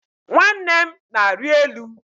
Nwanne m na-arị elu